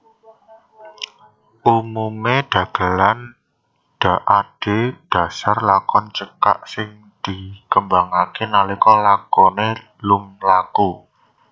Umumé dagelan adhedhasar lakon cekak sing dikembangké nalika lakoné lumlaku